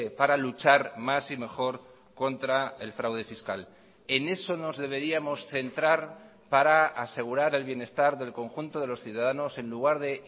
para luchar más y mejor contra el fraude fiscal en eso nos deberíamos centrar para asegurar el bienestar del conjunto de los ciudadanos en lugar de